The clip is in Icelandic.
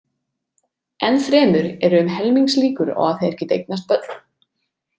Enn fremur eru um helmingslíkur á að þeir geti eignast börn.